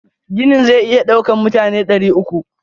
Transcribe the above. Ginin zai iya daukan mutane dari uku.